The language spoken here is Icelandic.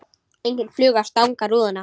Engin fluga að stanga rúðuna.